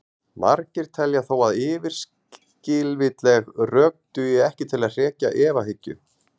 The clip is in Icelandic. margir telja þó að yfirskilvitleg rök dugi ekki til að hrekja efahyggju